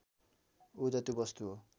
ऊर्जा त्यो वस्तु हो